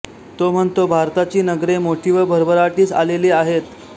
तो म्हणतो भारताची नगरे मोठी व भरभराटीस आलेली आहेत